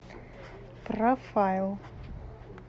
профайл